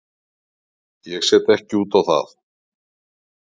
Ég set ekki út á það.